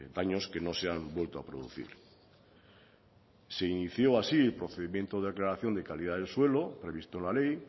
daños que no se han vuelto a producir se inició así el procedimiento de de calidad del suelo previsto en la ley